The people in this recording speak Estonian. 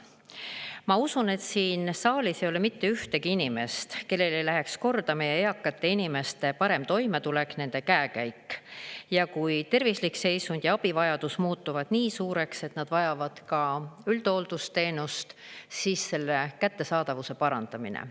Ma usun, et siin saalis ei ole mitte ühtegi inimest, kellele ei läheks korda meie eakate inimeste parem toimetulek, nende käekäik, ja kui tervislik seisund ja abivajadus muutuvad nii suureks, et nad vajavad ka üldhooldusteenust, siis selle kättesaadavuse parandamine.